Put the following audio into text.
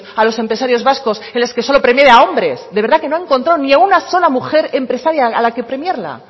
a los empresarios vascos en las que solo premiaba a hombres de verdad que no encontró ni a una sola mujer empresaria a la que premiar